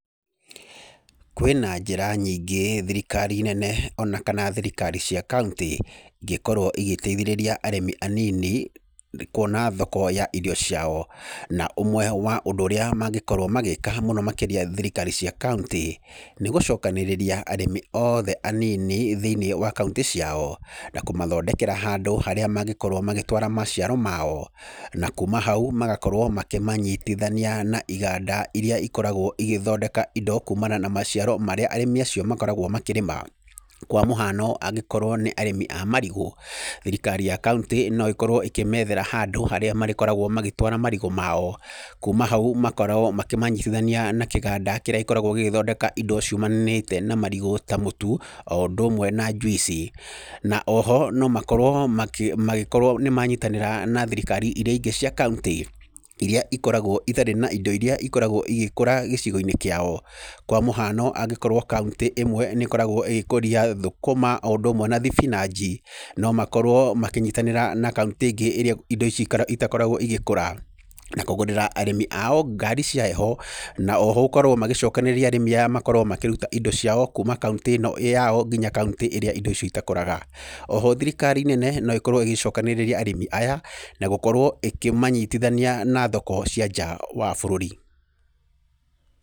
Kwĩna njĩra nyingĩ thirikari nene, ona kana thirikari cia kauntĩ, ingĩkorwo igĩteithĩrĩria arĩmi anini kuona thoko ya irio ciao, na ũmwe wa ũndũ ũrĩa mangĩkorwo magĩka mũno makĩria thirikari cia kauntĩ, nĩ gũcokanĩrĩria arĩmi oothe anini, thĩinĩ wa kauntĩ ciao, na kũmathondekera handũ harĩa mangĩkorwo magĩtwara maciaro mao, na kuuma hau magakorwo makĩmanyitithania na iganda iria ikoragwo igĩthondeka indo kuumana na maciaro macio arĩmi acio makoragwo makĩrĩma, kwa mũhano angĩkorwo nĩ arĩmi a marigũ, thirikari ya kauntĩ no ĩkorwo ĩkĩmethera handũ harĩa marĩkoragwo magĩtwara marigũ mao, kuuma hau makorwo makĩmanyitithania na kĩganda kĩrĩa gĩkoragwo gĩkĩthondeka indo ciumanĩte na marigũ ta mũtu, o ũndũ ũmwe na juici, na oho no makorwo magĩkorwo nĩmanyitanĩra na thirikari iria ingĩ cia kauntĩ, iria ikoragwo itarĩ na indo iria ikorogwo igĩkora gĩcigo-inĩ kĩao, kwa mũhano angĩkorwo kauntĩ ĩmwe nĩ ĩkoragwo ĩgĩkoria thũkũma o ũndũ ũmwe na thibinagi, no makorwo makĩnyitanĩra na kauntĩ ĩngĩ ĩrĩa indo icio itakoragwo igĩkora, na kũgũrĩra arĩmi ao ngari cia hehe na oho gũkorwo magĩcokanĩrĩria arĩmi aya makorwo makĩruta indo ciao kuuma kauntĩ ĩno ĩyao, nginya kauntĩ ĩrĩa indo icio itakũraga, oho thirikari nene no ĩkorwo ĩgĩcokanĩrĩria arĩmi aya na gũkorwo ĩkĩmanyitithania na thoko cia nja wa bũrũri.